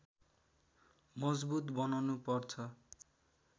मजबुत बनाउनु पर्छ